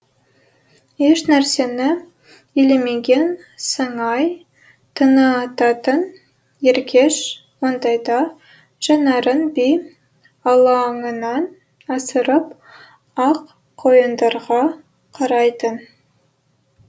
еш нәрсені елемеген сыңай танытатын еркеш ондайда жанарын би алаңынан асырып ақ қайыңдарға қарайтын